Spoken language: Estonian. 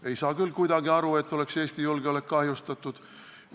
Ei saa küll kuidagi aru, et Eesti julgeolekut oleks kahjustatud.